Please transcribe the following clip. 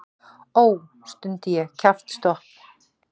Ó, stundi ég kjaftstopp.